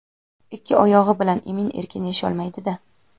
ikki oyog‘i bilan emin-erkin yasholmaydi-da.